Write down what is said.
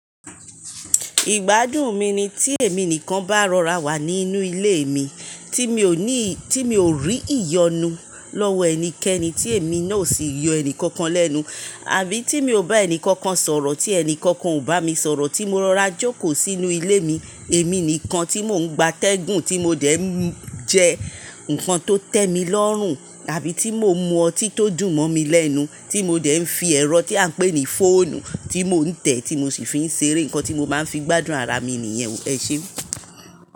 Ìgbádùn mi ni tí èmi nìkan bá rọra wà nínú ilé mi, tí mi ò ní, tí mi ò rí ìyọnu lọ́wọ́ ẹnikẹni tí èmi náà ò sì yọ ẹnì kankan lẹ́nu àbí tí mi ò bá ẹni kankan sọ̀rọ̀ tí ẹni kankan ò bá mi sọ̀rọ̀ tí mo rọra jókòó sínú ilé mi, èmi nìkan tí mò ń gba tẹ́gùn tí mo dẹ̀ ń jẹ nǹkan tó tẹ mi lọ́rùn àbí tí mò ń mu ọtí tó dùn mọ́ mi lẹ́nu tí mo dẹ̀ ń fi ẹrọ tí a ń pè ní fóònù tí mò ń tẹ̀ tí mo sì fi ń ṣeré. Ǹkan tí mo máa ń fi gbádùn ara mi nìyẹn. Ese.